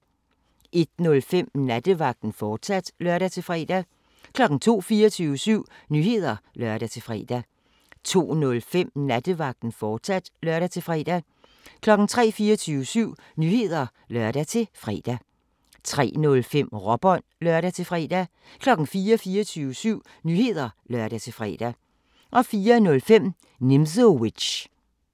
01:05: Nattevagten, fortsat (lør-fre) 02:00: 24syv Nyheder (lør-fre) 02:05: Nattevagten, fortsat (lør-fre) 03:00: 24syv Nyheder (lør-fre) 03:05: Råbånd (lør-fre) 04:00: 24syv Nyheder (lør-fre) 04:05: Nimzowitsch